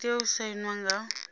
i tea u sainwa nga